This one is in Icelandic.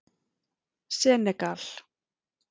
Senegal